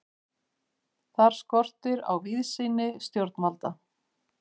Þar skortir á víðsýni stjórnvalda.